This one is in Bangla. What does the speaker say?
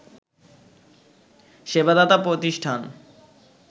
সেবা দাতা প্রতিষ্ঠান